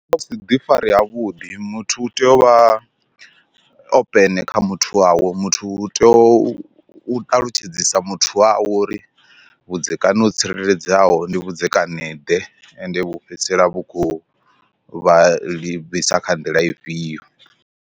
Ndi musi ḓi fari havhuḓi muthu utea uvha open kha muthu wawe muthu u tea u ṱalutshedzisa muthu wawe uri vhudzekani ho tsireledzeaho ndi vhudzekani ḓe ende vhu fhedzisela vhu khou vha livhisa kha nḓila ifhio.